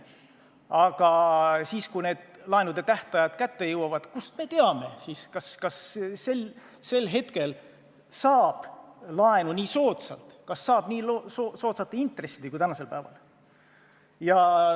Aga kust me teame, kas siis, kui need laenude tähtajad kätte jõuavad, saab laenu nii soodsalt, nii soodsate intressidega kui tänasel päeval?